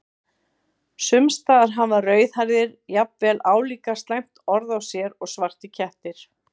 Sums staðar hafa rauðhærðir jafnvel álíka slæmt orð á sér og svartir kettir.